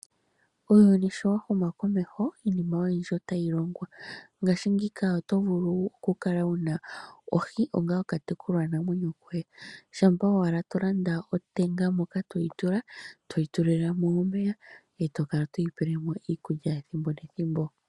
Uuyuni sho wahuma komeho iinima oyindji otayiya , ngashingeyi otovulu okukala wuna ohi onga oka okatekulwa namwenyo koye ,tolanda otenga moka todhitula todhi tulilemo omeya tokala todhi tulilemo iikulya kehe ethimbo.